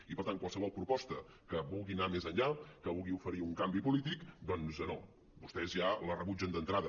i per tant qualsevol proposta que vulgui anar més enllà que vulgui oferir un canvi polític doncs no vostès ja la rebutgen d’entrada